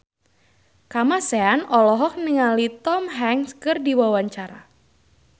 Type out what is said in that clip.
Kamasean olohok ningali Tom Hanks keur diwawancara